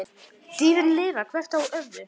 Dýrin lifa hvert á öðru.